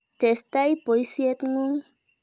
Tesetai poisyet ng'ung'.